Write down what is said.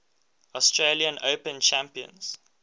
australian open champions